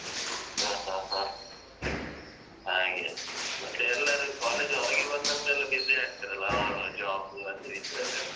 ಹ ಹ ಹ ಹಾಗೆ ಮತ್ತೆ ಎಲ್ಲರು college ಹೊರಗೆ ಬಂದ್ನನ್ತ್ರ ಎಲ್ಲ busy ಆಗ್ತಾರಲ್ಲ ಅವರವರ job ಅದು ಇದ್ರಲ್ಲೆಲ್ಲ.